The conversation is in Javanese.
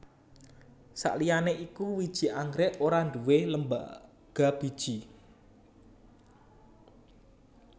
Sakliyané iku wiji anggrèk ora nduwé lembaga biji